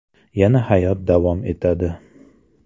Yana hayot davom etadi.